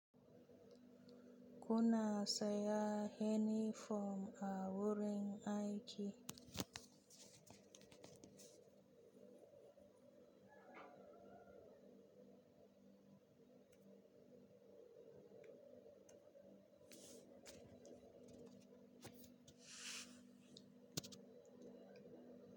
Kuna sanya inifom a wurin aiki?